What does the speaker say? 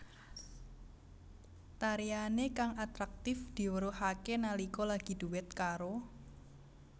Tariané kang atraktif diweruhaké nalika lagi duet karo